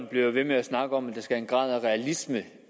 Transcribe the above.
bliver ved med at snakke om at der skal en grad af realisme